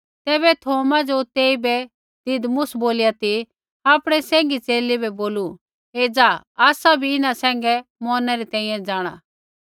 तैबै थौमा ज़ो तेइबै दिदमुस बोलिया ती आपणै सैंघी च़ेले बै बोलू एज़ा आसा भी इन्हां सैंघै मौरणै री तैंईंयैं जाँणा